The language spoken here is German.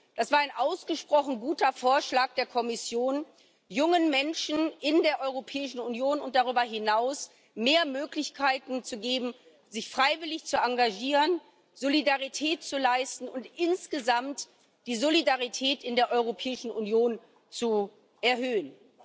Es war ein ausgesprochen guter Vorschlag der Kommission, jungen Menschen in der Europäischen Union und darüber hinaus mehr Möglichkeiten zu geben, sich freiwillig zu engagieren, Solidarität zu leisten und insgesamt die Solidarität in der Europäischen Union zu erhöhen.